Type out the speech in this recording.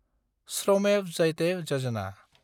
श्रमेब जायाते यजना